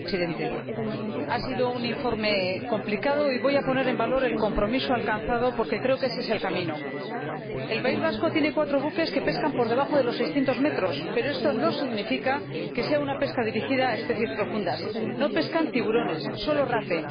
Señor Presidente, la elaboración del informe ha sido complicada y voy a poner en valor el compromiso alcanzado, porque creo que ese es el camino. El País Vasco tiene cuatro buques que pescan por debajo de los seiscientos metros, pero esto no significa que sea una pesca dirigida a especies profundas. No pescan tiburones, solo rape.